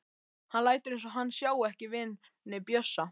Hann lætur eins og hann sjái ekki vini Bjössa.